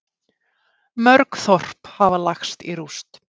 Mörg þorp hafa lagst í rúst